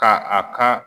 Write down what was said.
Ka a ka